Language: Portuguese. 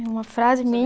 Uma frase